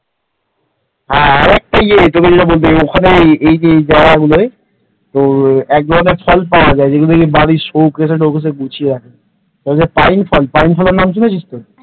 আর একটা ইয়ে তোকে যেটা বলতে গেলাম এখানে এই জায়গা গুলোই এক ধরনের ফল পাওয়া যায় ওই যেটা তোর বাড়ির শোকেসে টোকেসে গুছিয়ে রাখা যায় পাইন ফল পাইন ফলের নাম শুনেছিস তো